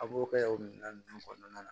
A b'o kɛ o minɛn ninnu kɔnɔna na